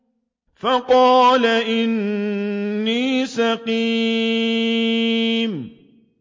فَقَالَ إِنِّي سَقِيمٌ